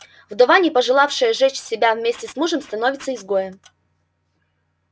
вдова не пожелавшая сжечь себя вместе с мужем становится изгоем